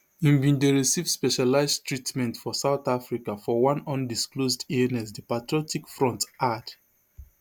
e bin dey receive specialized treatment for south africa for one undisclosed illness di patriotic front add